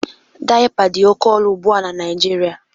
Daịpa dị oké ọnụ ugbu a na Naijiria